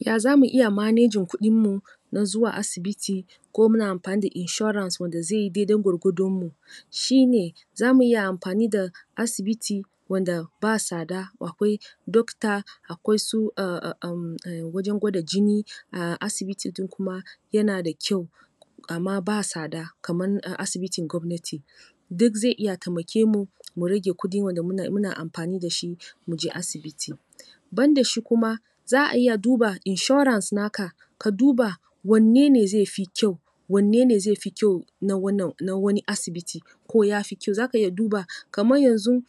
Ya za mu iya manejin kuɗinmu don zuwa asibiti ko muna amfani da inshora da zai yi daidai gwargwadonmu shi ne za mu iya amfani da asibiti wanda ba sada, akwai dokta akwai su um wajen gwada jini a asibitin kuma yana da kyau. Amma ba sada kaman asibitin gwamnati. Duk zai iya taimake mu mu rage kudi wanda muna amfani da shi mu je asibiti. Ban da shi kuma za a iya duba insurance naka. Ka duba wanne ne zai fi kyau, wanne ne zai fi kyau na wannan na wani asibiti? ko ya fi kyau. Za ka iya duba kaman yanzu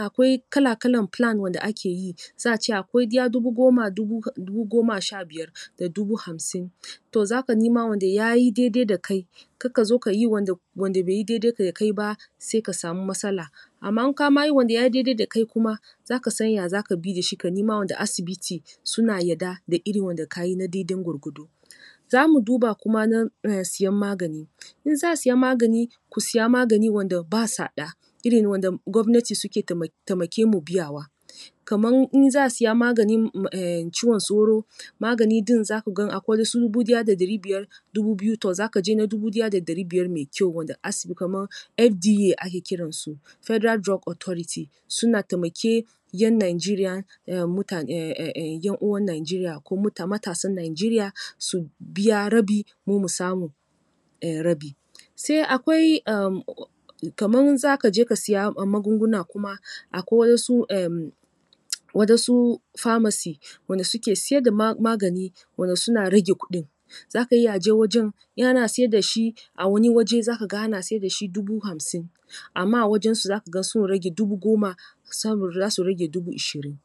Akwai kala-kalan plan wanda ake yi. Za a ce akwai ɗaya dubu goma, dubu goma sha biyar da dubu hamsin. To za ka nima wanda ya yi daidai da kai Kar ka zo ka yi wanda bai daidai da kai ba sai ka samu matsala. Amma in ma ka yi wanda ya yi daidai da kai kuma za ka san yanda za ka bi da shi, ka nima wane asibiti suna yarda da wanda ka yi daidan gwargwado. Za mu duba kuma na siyan magani. In za a saya magani, ku saya magani wanda ba sada--irin wanda gwamnati suke taimake mu biyawa. kaman in za a siya maganin um ciwon sauro, magani din za gan akwai na su dubu daya da dari biyar dubu biyu. To za ka je na dubu daya da dari biyar mai kyau wanda as, FDA ake kiransu. Federal Drug Authority, suna taimake yan Nanjeriya, mutane um ƴan uwan Najeriya, ko matasan Najeriya su biya rabi, mu mu samu rabi. Sai akwai um kaman za je ka saya magunguna kuma akwai waɗansu um waɗansu famasi wanda suke sayar da magani wanda suna rage kuɗin za ka iya je wajen. In ana saya da shi a wani waje za ka ga ana sayar da shi dubu hamsin amma a wajensu za ka ga sun rage dubu goma saboda za su rage dubu ishirin.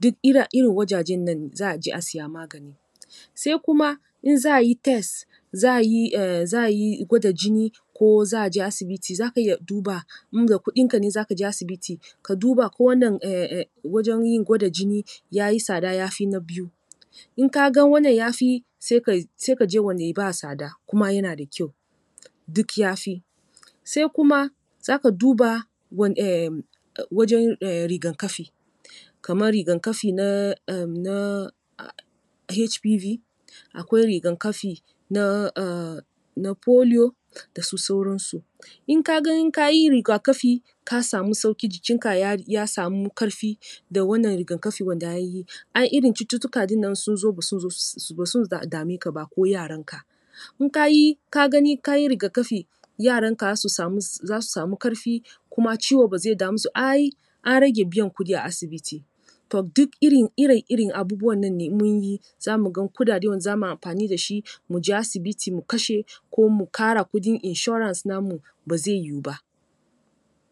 Duk irin wajajen nan za a je a saya magani. Sai kuma in za a yi test, za a yi um za a yi gwada jini ko za a je asibiti za ka iya duba in da kudinka ne za ka je asibiti ka duba ko wannan um wajen gwada jini ya yi sada ya fi na biyu. In ka ga wannna ya fi sai ka je wanda ba sada kuma yana da kyau duk ya fi. Sai kuma za ka duba wan um wajen rigan-kafi, kaman rigan-kafi na um na HBP, akwai rigan-kafi na um foliyo da su sauransu in ka gan in ka yi riga-kafi ka samu sauki jikinka ya samu karfi da wannan rigan-kafi wanda an yi ai irin wannan cututtuka din nan in sun zo ba sun zo su dame ka ba ko yaranka In ka yi ka ga gani ka yi riga-kafi yaranka za su samu karfi kuma ciwo ba zai dame su, ai an rage biyan kudi a asibiti. To duk irin irin irin abubuwan ne in mun yi za mu ga kudade wanda za mu amfani da shi mu je asibiti mu kashe ko mu kara kudin insurance namu ba zai yiwu ba.